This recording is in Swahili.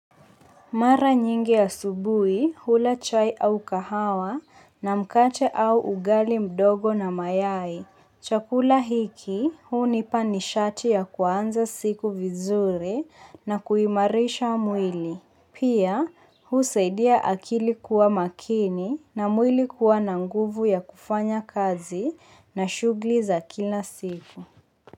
Mara nyingi asubuhi hula chai au kahawa na mkate au ugali mdogo na mayai. Chakula hiki hunipa nishati ya kuanza siku vizuri na kuimarisha mwili. Pia, huu saidia akili kuwa makini na mwili kuwa na nguvu ya kufanya kazi na shughuli za kila siku.